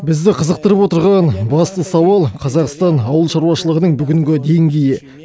бізді қызықтырып отырған басты сауал қазақстан ауыл шаруашылғының бүгінгі деңгейі